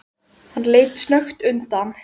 Hann leit snöggt undan.